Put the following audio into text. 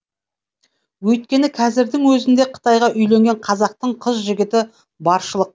өйткені кәзірдің өзінде қытайға үйленген қазақтың қыз жігіті баршылық